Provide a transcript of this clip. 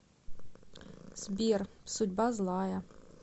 сбер судьба злая